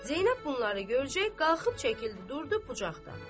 Zeynəb bunları görcək qalxıb çəkildi, durdu bucaqdan.